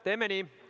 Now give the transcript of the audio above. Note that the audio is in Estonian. Teeme nii.